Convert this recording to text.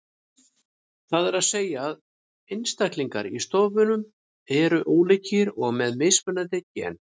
Það er að segja að einstaklingar í stofnum eru ólíkir og með mismunandi gen.